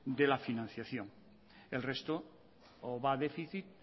de la financiación el resto o va a déficit